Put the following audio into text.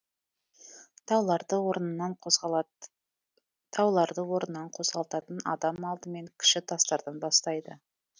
тауларды орнынан қозғалтатын адам алдымен кіші тастардан бастайды